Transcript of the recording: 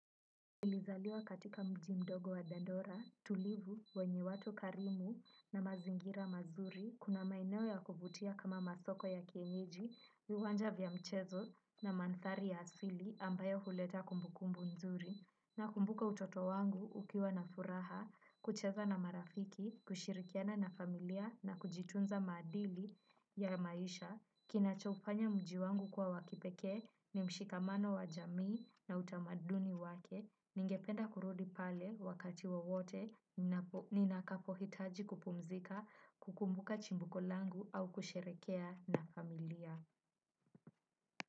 Nilizaliwa katika mji mdogo wa dandora, tulivu, wenye watu karimu, na mazingira mazuri, kuna maeneo ya kuvutia kama masoko ya kienyeji, viwanja vya mchezo, na manthari ya asili ambayo huleta kumbukumbu mzuri, nakumbuka utoto wangu ukiwa na furaha, kucheza na marafiki, kushirikiana na familia, na kujitunza maadili ya maisha, kinachoufanya mji wangu kwa wa kipekee ni mshikamano wa jamii na utamaduni wake. Ningependa kurudi pale wakati wowote ninakapohitaji kupumzika kukumbuka chimbuko langu au kusherehekea na familia.